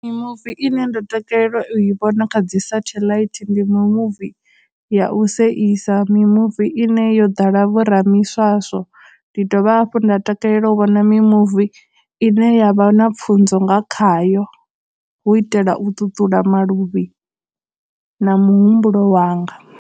Mimuvi ine nda takalela u i vhona kha dzi satellite ndi mimuvi ya u seisa, mimuvi ine yo ḓala vho ramiswaswo, ndi dovha hafhu nda takalela u vhona mimuvi ine yavha na pfhunzo nga khayo, hu u itela u ṱuṱula maluvhi na muhumbulo wanga.